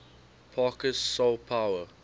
parker's soul power